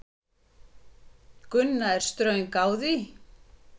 Gunna er ströng á því.